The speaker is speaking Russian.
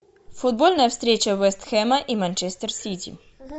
футбольная встреча вест хэма и манчестер сити